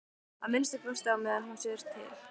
Að minnsta kosti á meðan hún sér til.